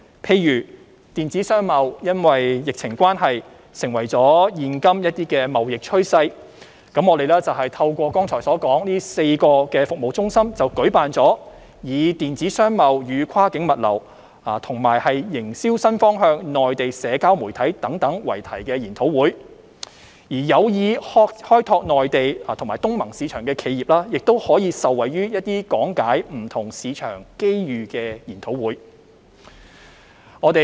例如，電子商貿因疫情關係成為現今貿易趨勢，我們便透過剛才所說的4個服務中心舉辦以"電子商貿與跨境物流"及"營銷新方向─內地社交媒體"等為題的研討會；而有意開拓內地及東盟市場的企業，亦可受惠於講解不同市場機遇的研討會。